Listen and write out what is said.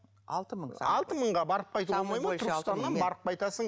алты мың алты мыңға барып қайтуға болмайды ма барып қайтасың